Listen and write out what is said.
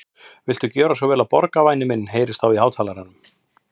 Viltu gjöra svo vel að borga, væni minn heyrðist þá í hátalaranum.